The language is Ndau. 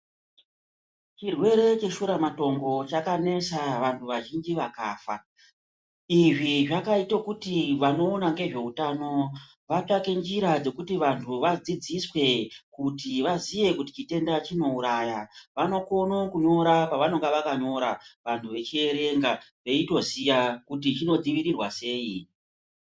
Chirwere cheshura matongo chakanesa vantu vazhinji vakafa izvi zvakaite kuti vanokona ngezveutano vatsvake nzira dzekuti vantu vadzidziswe kuti vaziye kuti chitenda chinouraya vanokone kunyora pavanenge zvakanyorwa vantu vechiverenga veitoziya kuti chinodzivirirwa sei.